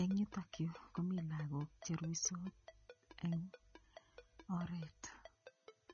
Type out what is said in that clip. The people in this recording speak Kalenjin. Eng' yutokyu komi lakok cheruisot eng' oret